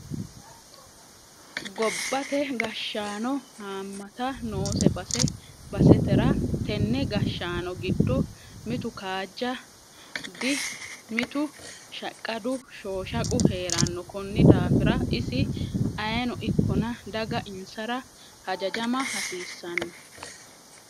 Gobbate gashshano hamata noose base basetera tene gashshaano giddo mitu kaajja du mitu shhaqqadu shoshaqu heerano koni daafira isi ayeeno ikkonna daga insara hajajama hasiisanolla.